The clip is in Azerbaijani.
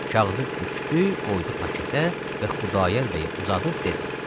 Kağızı bükdü, qoydu paketə və Xudayar bəyə uzadıb dedi: